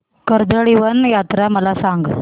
कर्दळीवन यात्रा मला सांग